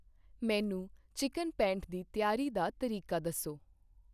ਮੈਨੂੰ ਚਿਕਨ ਪੇਂਠ ਦੀ ਤਿਆਰੀ ਦਾ ਤਰੀਕਾ ਦੱਸੋ।